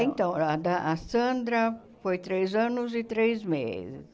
Então, a da a Sandra foi três anos e três meses.